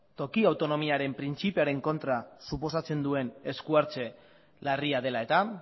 toki autonomiaren printzipioaren kontra suposatzen duen esku hartze larria dela eta